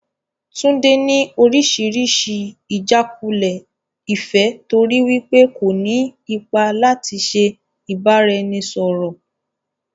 Tunde ni oríṣiríṣi ijàkulẹ̀ ìfẹ́ torí wípé kò ní ipa láti ṣe ìbáraẹnisọọ̀rọ̀.